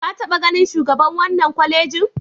Ka taɓa ganin shugaban wannan kwalejin?